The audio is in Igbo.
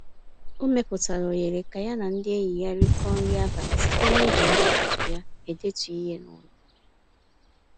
O mepụtara ohere ka ya na ndị enyi ya rịkọ nri abalị site n'iji ụtụtụ ya edetu ihe n'ụlọ.